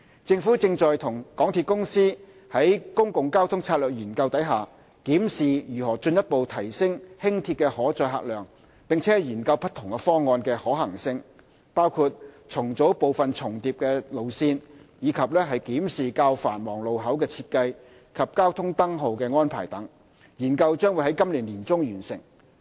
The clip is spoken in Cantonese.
政府正與港鐵公司於《公共交通策略研究》中檢視如何進一步提升輕鐵的可載客量，並研究不同方案的可行性，包括重組部分重疊路線，以及檢視較繁忙路口的設計及交通燈號安排等，研究將於今年年中完成。